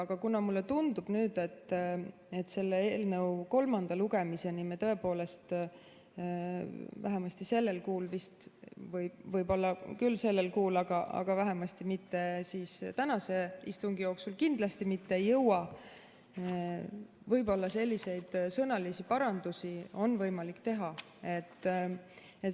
Aga kuna mulle tundub nüüd, et selle eelnõu kolmanda lugemiseni me tõepoolest vähemasti sellel kuul vist ei jõua – võib-olla küll sellel kuul, aga kindlasti mitte tänase istungi jooksul –, siis võib-olla selliseid sõnalisi parandusi on võimalik teha.